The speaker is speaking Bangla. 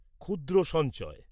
ক্ষুদ্র সঞ্চয়